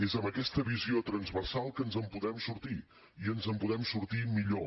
és amb aquesta visió transversal que ens en podem sortir i ens en podem sortir millor